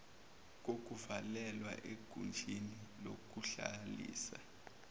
kokuvalelwa egunjini lokuhlalisa